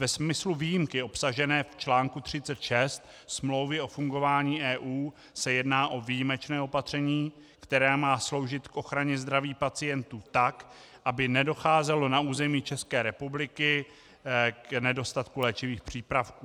Ve smyslu výjimky obsažené v článku 36 Smlouvy o fungování EU se jedná o výjimečné opatření, které má sloužit k ochraně zdraví pacientů, tak aby nedocházelo na území České republiky k nedostatku léčivých přípravků.